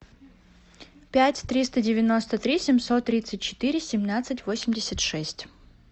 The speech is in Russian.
пять триста девяносто три семьсот тридцать четыре семнадцать восемьдесят шесть